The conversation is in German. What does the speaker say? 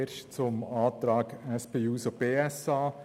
Zuerst zum Antrag der SP-JUSO-PSA